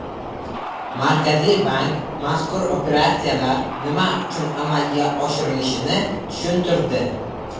Markaziy bank mazkur operatsiyalar nima uchun amalga oshirilishini tushuntirdi .